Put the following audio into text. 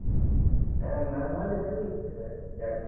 ಹಾ ನಾನ್ ನಾಳೆ ತಗೊಳ್ತೆನಲ ಗಾಡಿ.